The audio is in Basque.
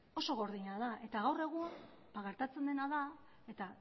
oso gordina da eta gaur egun gertatzen dena da eta